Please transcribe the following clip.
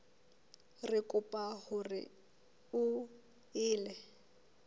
re kopa hore o ele